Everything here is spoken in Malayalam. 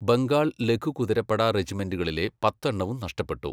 ബംഗാൾ ലഘു കുതിരപ്പട റെജിമെന്റുകളിലെ പത്തെണ്ണവും നഷ്ടപ്പെട്ടു.